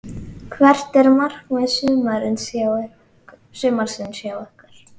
Hvert er markmið sumarsins hjá ykkur?